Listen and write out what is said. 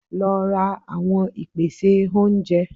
Lo ra àwon ìpèsè oúnje